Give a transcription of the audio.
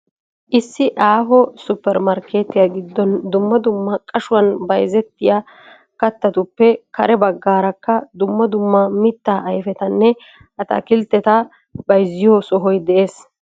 Issi aaho supper markkeetyiya giddon dumma dumma qashuwan bayizettiya kattatuppe kare baggaarakka dumma dumma mittaa ayipetanne ataakilteta bayizziyo sohoy des.